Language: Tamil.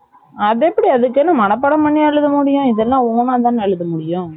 அதெப்படி அதுக்குன்னு மனப்பாடம் பண்ணியா எழுத முடியும் இதெல்லாம் own ஆதான எழுத முடியும்